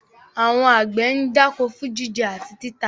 Àwọn àgbẹ̀ ń dáko fún jíjẹ àti títà.